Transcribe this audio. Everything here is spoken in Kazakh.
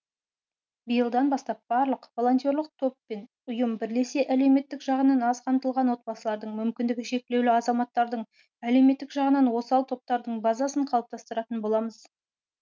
биылдан бастап барлық волонтерлық топ пен ұйым бірлесе әлеуметтік жағынан аз қамтылған отбасылардың мүмкіндігі шектеулі азаматтардың әлеуметтік жағынан осал топтардың базасын қалыптастыратын боламыз